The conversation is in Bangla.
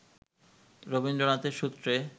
রবীন্দ্রনাথের সূত্রে